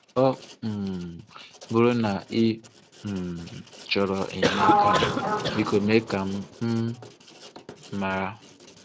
Ọ um bụrụ na ị um chọrọ enyemaka, Biko, mee ka m um mara.